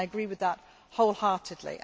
I agree with that wholeheartedly.